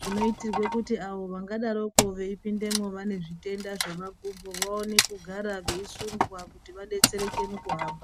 zvinoitirwe kuti avo vangadaroko veipindemo vane zvitenda zvemakumbo vawane kugara veisundwa kuti vadetsereke mukuhamba.